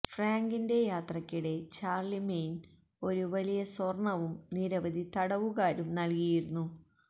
ഫ്രാങ്കിന്റെ യാത്രയ്ക്കിടെ ചാർളിമെയ്ൻ ഒരു വലിയ സ്വർണ്ണവും നിരവധി തടവുകാരും നൽകിയിരുന്നു